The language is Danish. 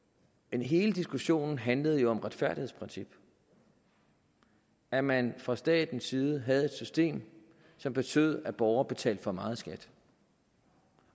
hele diskussionen handlede jo om et retfærdighedsprincip at man fra statens side havde et system som betød at borgere betalte for meget i skat